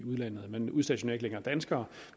udlandet man udstationerer ikke længere danskere